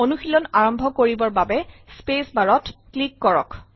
অনুশীলন আৰম্ভ কৰিবৰ বাবে স্পেচ বাৰ ত ক্লিক কৰক